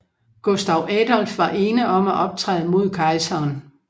Gustav Adolf var ene om at optræde mod kejseren